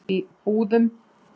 Búðum